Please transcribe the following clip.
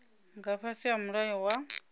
nga fhasi ha mulayo wa